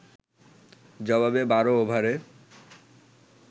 জবাবে ১২ ওভারে